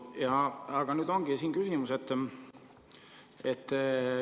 Ja nüüd ongi küsimus.